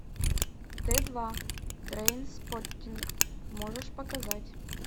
т два трейнспоттинг можешь показать